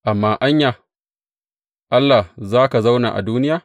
Amma anya, Allah, za ka zauna a duniya?